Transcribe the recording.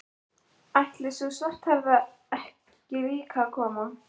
Ætlar sú svarthærða ekki líka að koma?